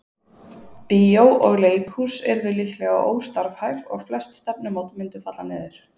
Bíó og leikhús yrðu líklega óstarfhæf og flest stefnumót mundu falla niður.